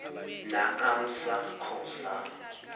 naamsa co za